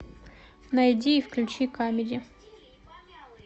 найди и включи камеди